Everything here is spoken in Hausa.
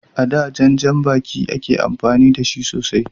A da, jan janbaki ne ake amfani da shi sosai.